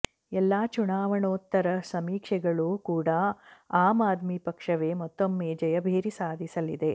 ಎಲ್ಲಾ ಚುನಾವಣೋತ್ತರ ಸಮೀಕ್ಷೆಗಳು ಕೂಡ ಆಮ್ ಆದ್ಮಿ ಪಕ್ಷವೇ ಮತ್ತೊಮ್ಮೆ ಜಯಭೇರಿ ಸಾಧಿಸಲಿದೆ